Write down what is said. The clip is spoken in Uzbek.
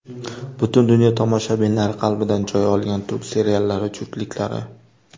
Butun dunyo tomoshabinlari qalbidan joy olgan turk seriallari juftliklari .